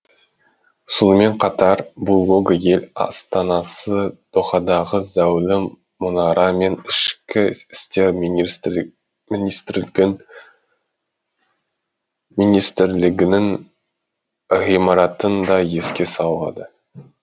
сонымен қатар бұл лого ел астанасы дохадағы зәулім мұнара мен ішкі істер министрлігінің ғимаратын да еске салады